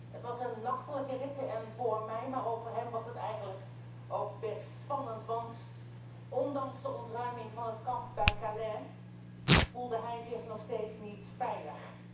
Het was een nachtelijke rit en voor mij, maar ook voor hem, was het eigenlijk best spannend, want ondanks de ontruiming van het kamp bij Calais voelde hij zich nog steeds niet veilig.